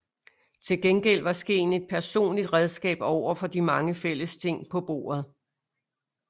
Til gengæld var skeen et personligt redskab over for de mange fællesting på bordet